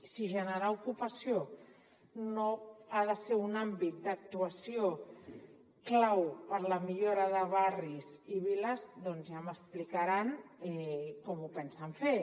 si generar ocupació no ha de ser un àmbit d’actuació clau per a la millora de barris i viles doncs ja m’explicaran com ho pensen fer